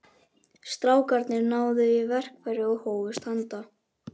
Strákarnir náðu í verkfæri og hófust handa.